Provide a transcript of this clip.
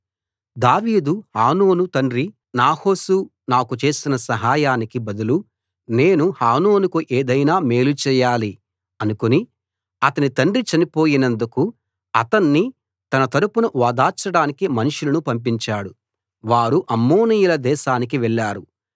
దావీదు హానూను తండ్రి నాహాషు నాకు చేసిన సహాయానికి బదులు నేను హానూనుకు ఏదైనా మేలు చేయాలి అనుకుని అతని తండ్రి చనిపోయినందుకు అతన్ని తన తరపున ఓదార్చడానికి మనుషులను పంపించాడు వారు అమ్మోనీయుల దేశానికి వెళ్ళారు